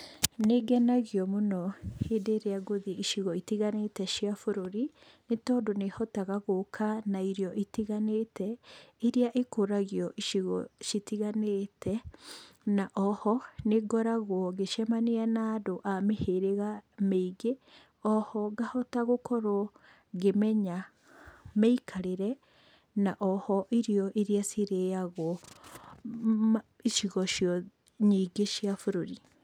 Nĩngenagio mũno hĩndĩ ĩrĩa ngũthiĩ icigo-inĩ itiganĩte cia bũrũri. Nĩ tondũ nĩ hotaga gũka na irio itiganite, iria cikũragio icigo citiganĩte, na oho nĩngoragwo ngĩcemania na andũ a mĩhĩrĩga mĩingĩ, oho ngahota gũkorwo ngĩmenya mĩikarĩre na oho irio iria cirĩyagwo icigo nyingĩ cia bũrũri.